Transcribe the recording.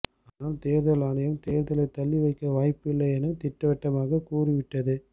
ஆனால் தேர்தல் ஆணையம் தேர்தலை தள்ளி வைக்க வாய்ப்பில்லை என திட்டவட்டமாக கூறிவிட்டது